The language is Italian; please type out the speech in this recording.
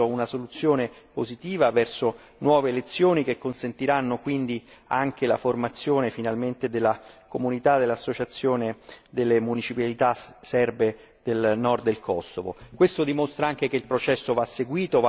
Ma anche in questo caso mi sembra che si vada verso una soluzione positiva, verso nuove elezioni che consentiranno quindi la formazione, finalmente, dell'associazione delle municipalità serbe del Nord del Kosovo.